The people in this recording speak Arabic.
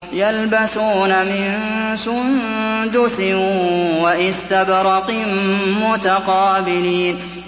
يَلْبَسُونَ مِن سُندُسٍ وَإِسْتَبْرَقٍ مُّتَقَابِلِينَ